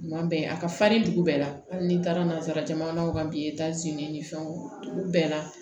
Kuma bɛɛ a ka farin dugu bɛɛ la hali n'i taara nanzara jamanaw kan bi taa ni fɛnw bɛɛ la